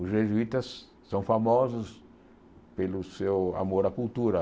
Os jesuítas são famosos pelo seu amor à cultura.